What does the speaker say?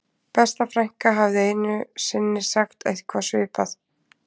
Besta frænka hafði einu sinni sagt eitthvað svipað